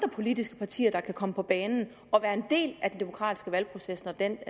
politiske partier der kan komme på banen og være en del af den demokratiske valgproces når den